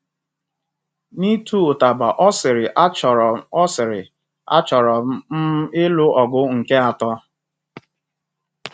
N'ịtụ ụtaba, ọ sịrị 'Achọrọ ọ sịrị 'Achọrọ m um ịlụ ọgụ nke atọ.'